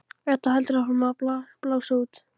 Edda heldur áfram að blása út.